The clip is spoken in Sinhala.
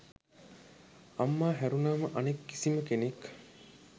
අම්මා හැරුණාම අනෙක් කිසිම කෙනෙක්